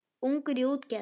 Ungur í útgerð